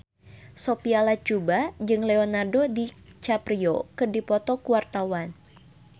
Sophia Latjuba jeung Leonardo DiCaprio keur dipoto ku wartawan